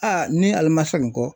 Aa ni ale ma segin kɔ